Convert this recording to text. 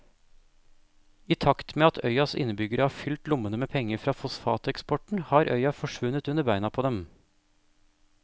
I takt med at øyas innbyggere har fylt lommene med penger fra fosfateksporten har øya forsvunnet under beina på dem.